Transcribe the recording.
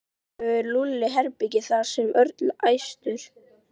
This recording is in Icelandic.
Kannski hefur Lúlli herbergi þar sagði Örn æstur.